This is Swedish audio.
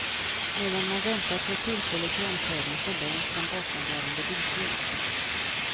Medan man väntar på ett tillfälle till omkörning förlängs den bakomvarande bilkön.